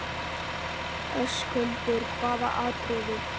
Höskuldur: Hvaða atriðið?